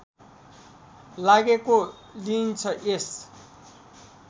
लागेको लिइन्छ यस